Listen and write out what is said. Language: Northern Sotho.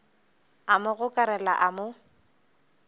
a mo gokarela a mo